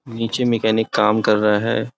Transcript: नीचे मैकेनिक काम कर रहा हैं।